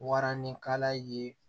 Waranikala ye